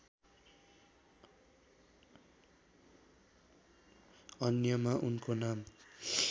अन्यमा उनको नाम